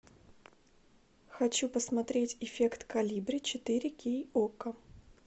хочу посмотреть эффект колибри четыре кей окко